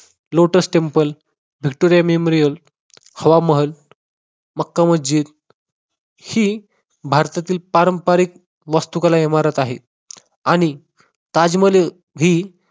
lotus temple Hawa Mahal, Makka Masjid ही भारतातील पारंपारिक वास्तुकला इमारत आहे आणि ताजमहल ही